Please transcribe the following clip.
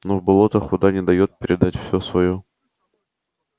но в болотах вода не даёт родителям-растениям передать все своё добро детям